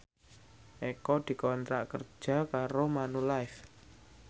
Eko dikontrak kerja karo Manulife